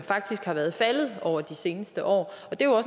faktisk har været faldende over de seneste år